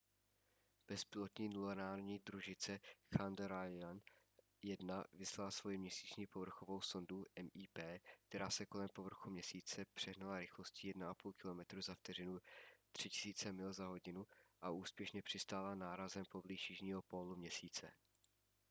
bezpilotní lunární družice chandrayaan-1 vyslala svoji měsíční povrchovou sondu mip která se kolem povrchu měsíce přehnala rychlostí 1,5 kilometru za vteřinu 3000 mil za hodinu a úspěšně přistála nárazem poblíž jižního pólu měsíce